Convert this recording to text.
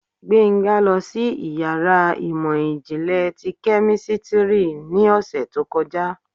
Gbenga losí iyàrá imọ-jinlẹ ti kẹ́místrì ni òsé tó kọjá